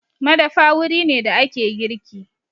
Madafa wuri ne da ake girki.